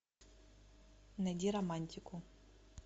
найди романтику